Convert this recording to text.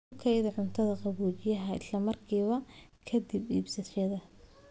Ku kaydi cuntada qaboojiyaha isla markiiba ka dib iibsashada.